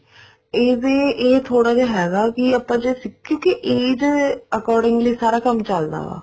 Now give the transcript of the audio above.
ਇਹਦੇ ਇਹ ਥੋੜਾ ਜਾ ਹੈਗਾ ਕੇ ਆਪਾਂ ਜੇ ਕਿਉਂਕਿ age accordingly ਸਾਰਾ ਕੰਮ ਚੱਲਦਾ ਹੈ